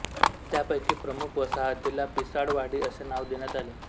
त्यापैकी प्रमुख वसाहतीला पिसाळवाडी असे नाव देण्यात आले